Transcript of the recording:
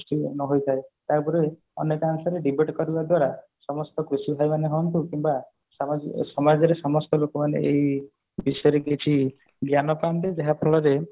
ନ ହୋଇଥାଏ ୟା ଉଆପରେ ଆମେ କଣ କରିବା debate କରିବା ଦ୍ଵାର ସମସ୍ତ କୃଷି ଭାଇ ମାନେ ହୁଅନ୍ତୁ କିମ୍ବା ସମାଜରେ ସମସ୍ତ ଲୋକମାନେ ଏହି ବିଷୟରେ କିଛି ଜ୍ଞାନ ପାଆନ୍ତେ ଯାହା ଫଳରେ